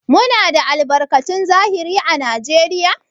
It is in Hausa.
Muna da albarkatun zahiri à Najeriya?